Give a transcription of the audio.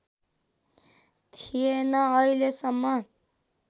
थिएन अहिलेसम्म